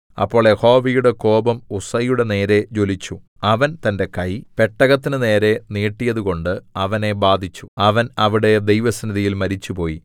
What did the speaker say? അപ്പോൾ യഹോവയുടെ കോപം ഉസ്സയുടെ നേരെ ജ്വലിച്ചു അവൻ തന്റെ കൈ പെട്ടകത്തിനുനേരേ നീട്ടിയതുകൊണ്ട് അവനെ ബാധിച്ചു അവൻ അവിടെ ദൈവസന്നിധിയിൽ മരിച്ചുപോയി